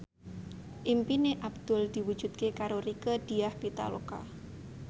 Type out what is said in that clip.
impine Abdul diwujudke karo Rieke Diah Pitaloka